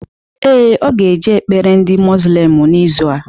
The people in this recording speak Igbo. Ee, ọ ga eje ekpere ndị muzlim n'izu a